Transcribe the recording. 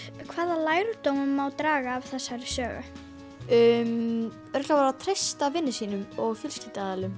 hvaða lærdóma má draga af þessari sögu örugglega bara að treysta vinum sínum og